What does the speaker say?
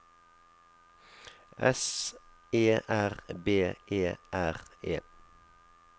S E R B E R E